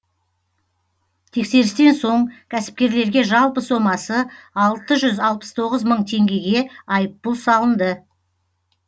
тексерістен соң кәсіпкерлерге жалпы сомасы алты жүз алпыс тоғыз мың теңгеге айыппұл салынды